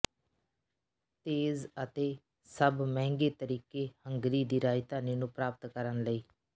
ਤੇਜ਼ ਅਤੇ ਸਭ ਮਹਿੰਗੇ ਤਰੀਕੇ ਹੰਗਰੀ ਦੀ ਰਾਜਧਾਨੀ ਨੂੰ ਪ੍ਰਾਪਤ ਕਰਨ ਲਈ